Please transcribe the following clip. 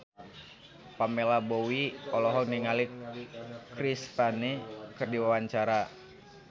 Pamela Bowie olohok ningali Chris Pane keur diwawancara